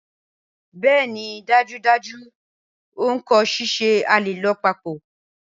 Bẹẹni dajudaju n ko ṣiṣẹ, a le lọ papọ̀.